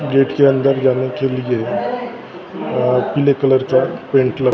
Gate के अंदर जाने के लिए पीले कलर का पेंट लगा।